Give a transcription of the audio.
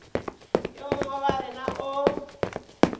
yo mongwe wa rena o